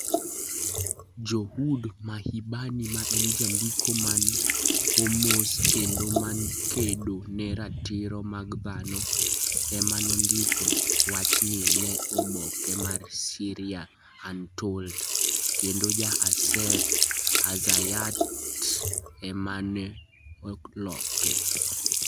Jood Mahbani, ma en jandiko man Homs kendo ma kedo ne ratiro mag dhano, ema nondiko wachni ne oboke mar Syria Untold, kendo Jaaser Azzayyaat ema ne oloke.